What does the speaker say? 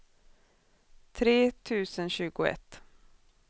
tre tusen tjugoett